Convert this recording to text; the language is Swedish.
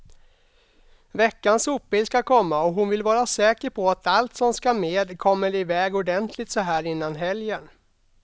Veckans sopbil ska komma och hon vill vara säker på att allt som ska med kommer iväg ordentligt såhär innan helgen.